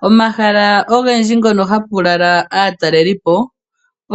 Pomahala ogendji mpono hapu lala aatalelipo